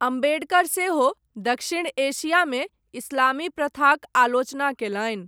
अम्बेडकर सेहो, दक्षिण एशियामे इस्लामी प्रथाक आलोचना कयलनि।